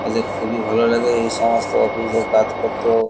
ওদের খুবই ভালো লাগে এই সমস্ত অফিস -এর কাজ করতে ।